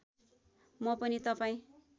म पनि तपाईँ